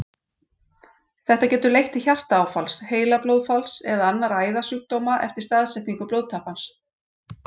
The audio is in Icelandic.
Þetta getur leitt til hjartaáfalls, heilablóðfalls eða annarra æðasjúkdóma eftir staðsetningu blóðtappans.